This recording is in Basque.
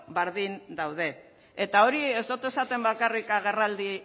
berdin daude ea ahori ez du esaten bakarrik agerraldi